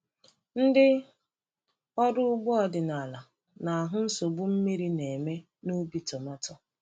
Ndị ọrụ ugbo ọdịnala na-ahụ nsogbu mmiri na-eme n’ubi tomato.